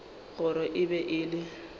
gore e be e le